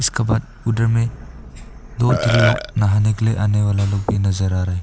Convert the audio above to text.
इसका बाद उधर में दो तीन लोग नहाने के लिए आने वाला लोग भी नजर आ रहे।